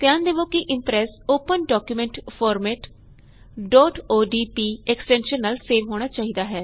ਧਿਆਨ ਦਵੋ ਕੇ Impress open document format odp extension ਨਾਲ ਸੇਵ ਹੋਣਾ ਚਾਹੀਦਾ ਹੈ